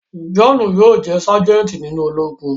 Johnu yóò jẹ sajenti nínú Ológùn